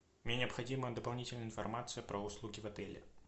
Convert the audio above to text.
мне необходима дополнительная информация про услуги в отеле